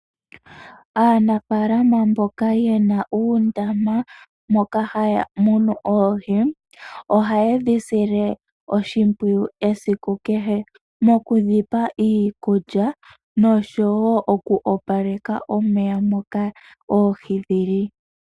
Aanafalama mboka ye na uundama moka haya munu oohi oha yedhi sile oshimpwiyu esiku kehe moku dhi pa iikulya noshowo oku opaleka omeya moka oohi dhili.